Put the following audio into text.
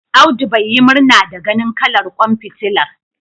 Abdu bai yi murna ganin kalar ƙwan fitilar.